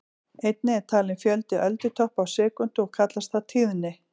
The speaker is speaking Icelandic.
Einnig er talinn fjöldi öldutoppa á sekúndu og kallast það tíðni.